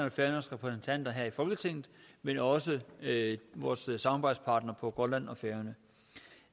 og færøernes repræsentanter her i folketinget men også vores samarbejdspartnere på grønland og færøerne